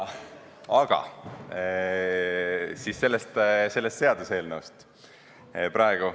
Aga nüüd praegusest seaduseelnõust.